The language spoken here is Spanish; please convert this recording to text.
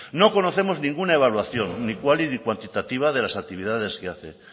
no conocemos ninguna evaluación ni cuali ni cuantitativa de las actividades que hace qué